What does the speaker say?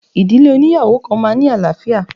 Ìdílé óníyàwó kan máa ń ní àlàáfíà.